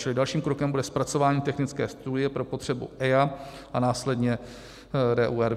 Čili dalším krokem bude zpracování technické studie pro potřebu EIA a následně RUR (?).